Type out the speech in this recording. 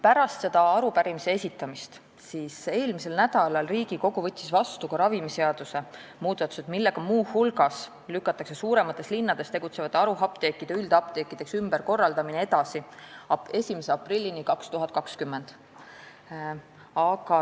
Pärast selle arupärimise esitamist võttis Riigikogu eelmisel nädalal vastu ravimiseaduse muudatused, millega muu hulgas lükatakse suuremates linnades tegutsevate haruapteekide üldapteekideks ümberkorraldamine edasi 1. aprillini 2020.